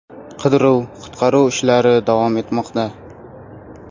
Qidiruv-qutqaruv ishlari davom etmoqda.